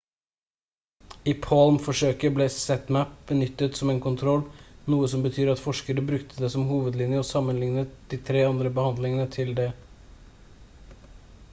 i palm-forsøket ble zmapp benyttet som en kontroll noe som betyr at forskere brukte det som hovedlinje og sammenlignet de tre andre behandlingene til det